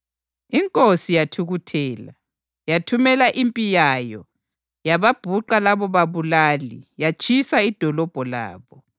Inkosi yathukuthela. Yathumela impi yayo yababhuqa labobabulali yatshisa idolobho labo.